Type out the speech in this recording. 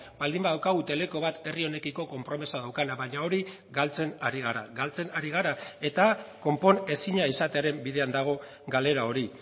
baldin badaukagu teleko bat herri honekiko konpromisoa daukana baina hori galtzen ari gara galtzen ari gara eta konponezina izatearen bidean dago galera hori